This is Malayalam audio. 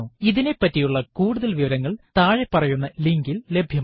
ഇതിനെപ്പറ്റിയുള്ള കൂടുതല് വിവരങ്ങള് താഴെ പറയുന്ന ലിങ്കിൽ ലഭ്യമാണ്